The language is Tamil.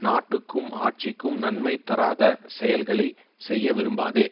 நாட்டுக்கும் ஆட்சிக்கும் நன்மை தராத செயல்களை செய்ய விரும்பாதே